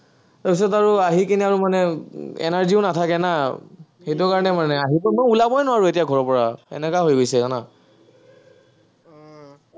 তাৰপিছত আহিকেনে আৰু মানে energy ও নাথাকে না। সেইটো কাৰণে মানে, আহি পেলাইতো মই ওলাবই নোৱাৰো ঘৰৰপৰা, এনেকাই হৈ গৈছে, জানা।